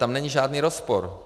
Tam není žádný rozpor.